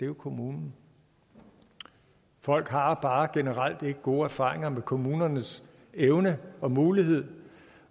kommunen folk har bare generelt bare ikke gode erfaringer med kommunernes evne og mulighed